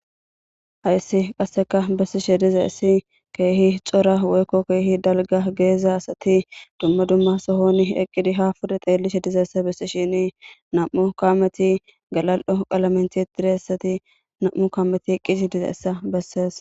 Haysi qase besishe dizaysi keehi cora woyko keehi dalga gidiza asati duma duma sohon eqidi ha pude xeelishe dizaysa besishini nam'u kaameti galal'o qalamen tiyetidaysati nam'u kaameti eqidi dizaysa besees.